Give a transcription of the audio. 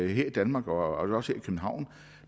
i danmark og også københavn